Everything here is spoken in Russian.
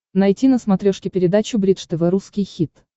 найти на смотрешке передачу бридж тв русский хит